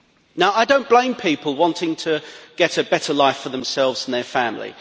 Now I do not blame people wanting to get a better life for themselves and their family.